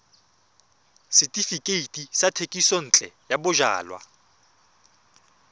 setefikeiti sa thekisontle ya bojalwa